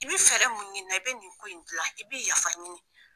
I bi fɛɛrɛ mun ɲinina i bɛ nin ko in gilan i bɛ yafa ɲini.